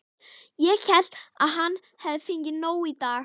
Ég hélt að hann hefði fengið nóg í dag.